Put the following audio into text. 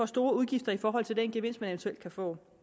store udgifter i forhold til den gevinst de eventuelt kan få